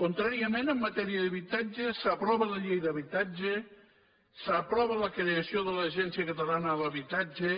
contràriament en matèria d’habitatge s’aprova la llei d’habitatge s’aprova la creació de l’agència catalana de l’habitatge